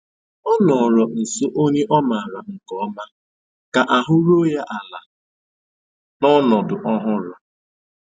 Ọ nọ̀rọ̀ nsó ònyè ọ́ mààra nkè ọ̀ma kà àhụ́ rùó ya àla n'ọnọ́dụ́ ọ̀hụrụ́.